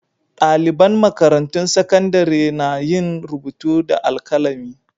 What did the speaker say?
Ɗaliban makarantun sakandare na yin rubutu da alkalami.